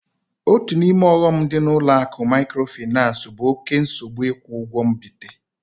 Otu n'ime ọghọm dị na ụlọ akụ mikrofinansi bụ oké nsogbu ikwu ụgwọ mbite